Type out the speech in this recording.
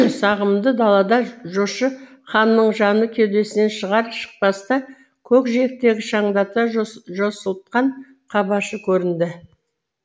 сағымды далада жошы ханның жаны кеудесінен шығар шықпаста көкжиекті шаңдата жосылтқан хабаршы көрінді